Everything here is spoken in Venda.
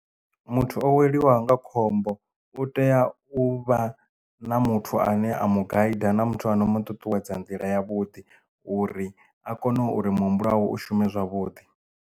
Muthu o weliwaho nga khombo u tea u vha na muthu ane a mu gaidi na muthu ano mu ṱuṱuwedza nḓila ya vhuḓi uri a kone uri muhumbulo wawe u shume zwavhuḓi.